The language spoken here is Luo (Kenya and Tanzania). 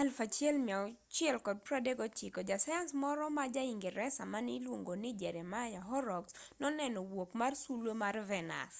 e 1639 jasayans moro ma jaingresa mane iluongo ni jeremiah horrocks noneno wuok mar sulwe mar venus